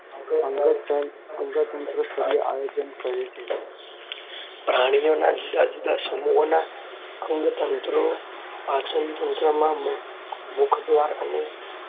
અંગતંત્રસ્તરીય આયોજન કહે છે. પ્રાણીઓના જુદા જુદા સમુહોના અંગતંત્રો પાચનતંત્રો મુખદ્વારઅને